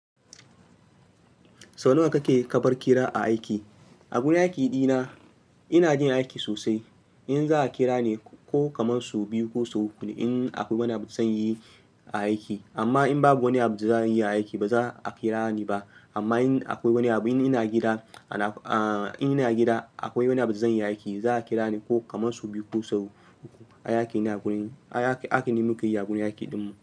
Sau nawa kake karbar kira a aiki? A gurin aiki dina ina jin aiki sosai. In za a kira ni ko kaman sau biyu ko sau uku ne in akwai wani abu zan yi a aiki. Amma in babu wani abun da zan yi a aiki ba za a kira ni ba. Amma in akwai wani abu, in ina gida, ana, ah, in ina gida akwai wani abun da zan yi a aiki, za a kira ni ko kaman sau biyu ko sau uku. A aiki nima kai yi a gurin aiki dinmu.